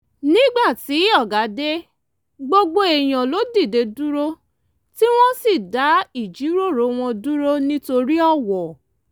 nígbà tí ọ̀gá dé gbogbo èèyàn ló dìde dúró tí wọ́n sì dá ìjíròrò wọn dúró nítorí ọ̀wọ̀